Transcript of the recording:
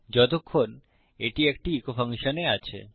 যতক্ষণ এটি একটি ইকো ফাংশনে আছে